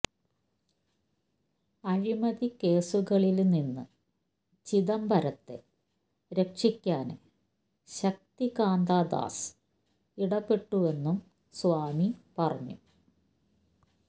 അഴിമതി കേസുകളില് നിന്ന് ചിദംബരത്തെ രക്ഷിക്കാന് ശക്തികാന്ത ദാസ് ഇടപ്പെട്ടുവെന്നും സ്വാമി പറഞ്ഞു